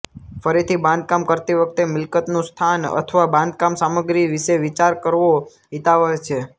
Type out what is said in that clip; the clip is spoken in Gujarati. ફરીથી બાંધકામ કરતી વખતે મિલકતનું સ્થાન અથવા બાંધકામ સામગ્રી વિશે વિચાર કરવો હિતાવહ છે